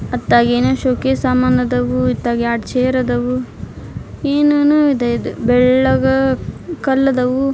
ಅತ್ತ ಏನೋ showcase ಸಾಮಾನ್ ಅದಾವು ಇತ್ತಾಗ ಎರಡ ಚೇರ್ ಅದಾವು ಏನ್ ಏನೋ ಇದೆ ಇದು ಬೆಳ್ಳಗ ಕಲ್ಲ ಅದಾವು.